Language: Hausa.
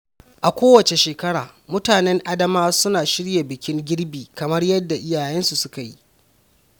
A kowace Shekara, mutanen Adamawa suna shirya bikin girbi kamar yadda iyayensu suka yi.